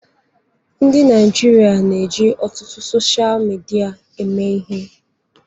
Ndị Naịjirịa na-eji ọtụtụ sochịa midia eme ihe.